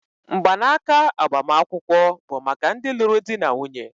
mgbanaka agbamakwụkwọ bụ maka ndị lụrụ di na nwunye